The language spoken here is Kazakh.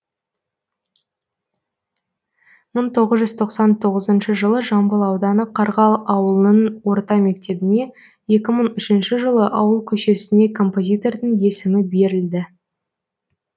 мың тоғыз жүз тоқсан тоғызыншы жылы жамбыл ауданы қарғалы ауылының орта мектебіне екі мың үшінші жылы ауыл көшесіне композитордың есімі берілді